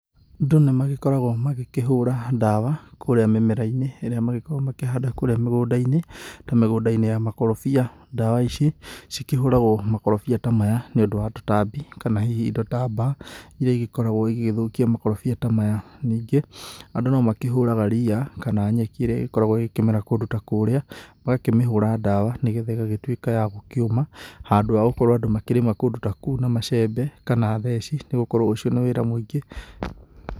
Andũ nĩ magĩkoragwo magĩkĩhũra dawa kũrĩa mĩmera-inĩ ĩrĩa magĩkoragwo makĩhanda kũrĩa mĩgũnda-inĩ ta mĩgũnda-inĩ ya makorobia. Dawa ici cikĩhũragwo makorobia ta maya nĩũndũ wa tũtambi kana hihi indo ta mbaa iria igĩkoragwo igĩgĩthũkia makorobia ta maya. Ningĩ andũ no makĩhũraga ria kana nyeki ĩrĩa ĩgĩkoragwo ĩgĩkĩmera kũndũ ta kũrĩa, magakĩmĩhũra dawa nĩgetha ĩgagĩtuĩka ya gũkĩũma handũ wa gũkorwo andũ magĩkĩrĩma kũndũ ta kũu na macembe kana theci nĩ gũkorwo ũcio nĩ wĩra mũingĩ.